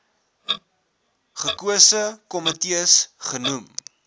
gekose komitees genoem